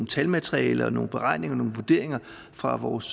talmateriale og nogle beregninger og nogle vurderinger fra vores